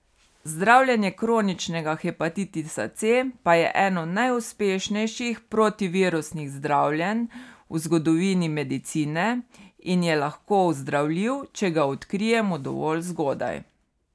Zdravljenje kroničnega hepatitisa C pa je eno najuspešnejših protivirusnih zdravljenj v zgodovini medicine in je lahko ozdravljiv, če ga odkrijemo dovolj zgodaj.